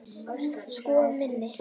Sko minn!